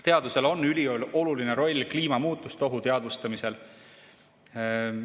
Teadusel on ülioluline roll kliimamuutuste ohu teadvustamisel.